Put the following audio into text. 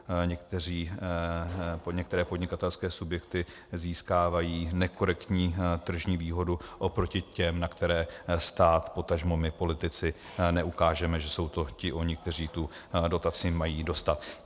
Některé podnikatelské subjekty získávají nekorektní tržní výhodu oproti těm, na které stát, potažmo my politici neukážeme, že to jsou ti oni, kteří tu dotaci mají dostat.